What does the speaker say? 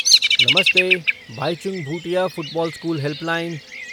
नमस्ते, Baichung Bhutia football school helpline.